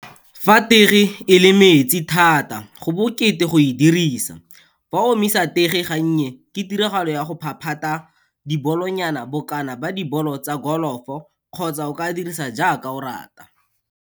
Fa tege e le metsi thata, go bokete go e dirisa. Fa o omisa tege gannye, ke tiragalo ya go phaphata dibolonyana bokana ba dibolo tsa golofo kgotsa o ka di dirisa jaaka o rata.